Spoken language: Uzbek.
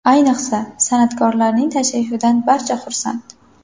Ayniqsa, san’atkorlarning tashrifidan barcha xursand.